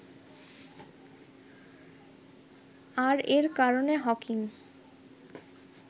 আর এর কারণে হকিং